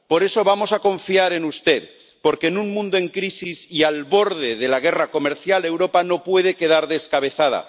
Por eso vamos a confiar en usted, porque en un mundo en crisis y al borde de la guerra comercial, Europa no puede quedar descabezada.